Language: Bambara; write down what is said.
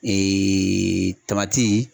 tamati